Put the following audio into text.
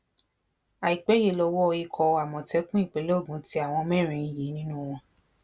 àìpẹ yìí lowó ikọ àmọtẹkùn ìpínlẹ ogun tẹ àwọn mẹrin yìí nínú wọn